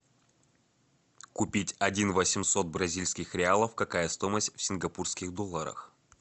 купить один восемьсот бразильских реалов какая стоимость в сингапурских долларах